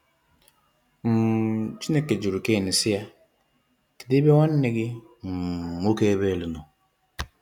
um Chineke juru Cain si ya, “kedu ebe nwanne gi um nwoke Abel no?”